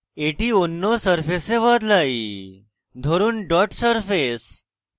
এটি অন্য surface বদলাই ধরুন dot সারফেস